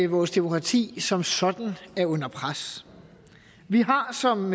vores demokrati som sådan er under pres vi har som